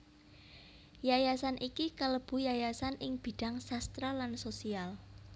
Yayasan iki kalebu yayasan ing bidhang sastra lan sosial